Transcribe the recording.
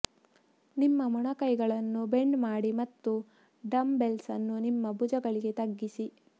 ನಿಮ್ಮ ಮೊಣಕೈಗಳನ್ನು ಬೆಂಡ್ ಮಾಡಿ ಮತ್ತು ಡಂಬ್ ಬೆಲ್ಸ್ ಅನ್ನು ನಿಮ್ಮ ಭುಜಗಳಿಗೆ ತಗ್ಗಿಸಿ